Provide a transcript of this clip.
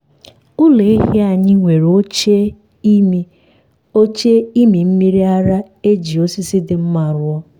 anyị na-ekewapụ ụmụ um ehi na nne ha na nne ha awa abụọ tupu ịmị mmiri ara amalite.